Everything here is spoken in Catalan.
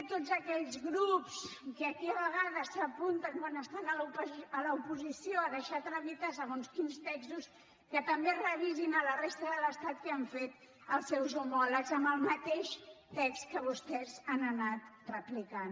tots aquells grups que aquí a vegades s’apunten quan estan a l’oposició a deixar tramitar segons quins textos que també revisin a la resta de l’estat què han fet els seus homòlegs amb el mateix text que vostès han anat replicant